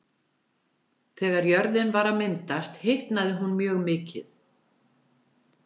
Þegar jörðin var að myndast hitnaði hún mjög mikið.